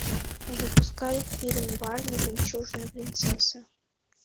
запускай фильм барби жемчужная принцесса